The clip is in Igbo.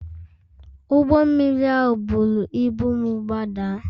Ụgbọ mmiri ahụ buru ibu m gbadaa